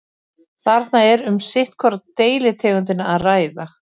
þarna er um sitt hvora deilitegundina að ræða